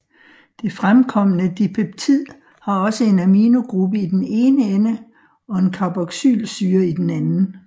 Det fremkomne dipeptid har også en aminogruppe i den ene ende og en carboxylsyre i den anden